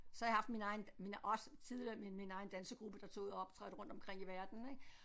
Så har jeg haft min egen min også tidligere min min egen dansegruppe der tog ud og optrådte rundt omkring i verden ik